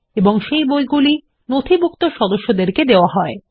এবং সেই বইগুলি নথিভুক্ত সদস্যদেরকে দেওয়া হয়